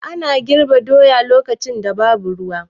Ana girbe doya lokacin da babu ruwa.